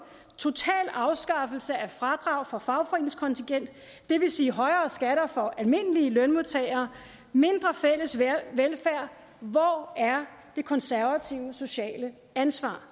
total afskaffelse af fradrag for fagforeningskontingent det vil sige højere skatter for almindelige lønmodtagere og mindre fælles velfærd hvor er de konservatives sociale ansvar